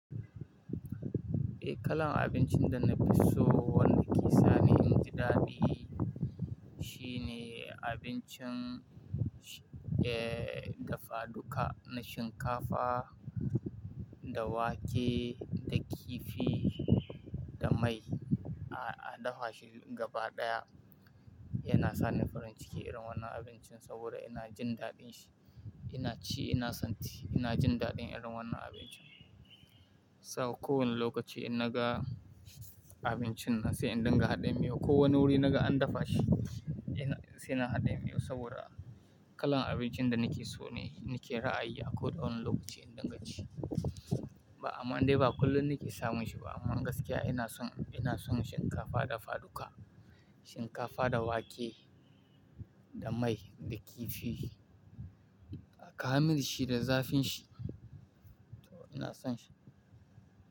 Eh kalan abincin da na fi so wanda ke sani inji daɗi shine abincin, eh, dafa duka na shinkafa da wake da kifi da mai a, a dafa shi gaba ɗaya. Yana sani farin ciki idan wannan abincin saboda ina jin daɗin shi, ina ci ina santi ina jin daɗin idan wannan abincin. Saboda kowane lokaci ina ga abincin nan sai inda ga haɗin miyo. Ko wane wuri naga an dafa shi ina, sai na haɗin miyo saboda kalan abincin da nake so ne, nake ra'ayi akwai ɗan lokaci inda gaci. Ba amma dai ba kullum nake samun shi ba amma gaskiya ina son, ina son shinkafa dafa duka. Shinkafa da wake da mai da kifi, a kama shi da zafin shi. To ina son shi.